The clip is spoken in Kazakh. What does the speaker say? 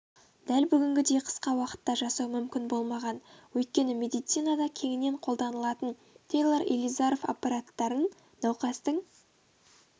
дәл бүгінгідей қысқа уақытта жасау мүмкін болмаған өйткені медицинада кеңінен қолданылатын тейлор илизаров аппараттарын науқастың